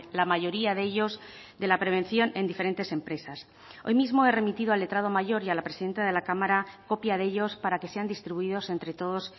la mayoría de ellos de la prevención en diferentes empresas hoy mismo he remitido al letrado mayor y a la presidenta de la cámara copia de ellos para que sean distribuidos entre todos